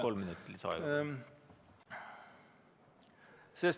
Kolm minutit lisaaega.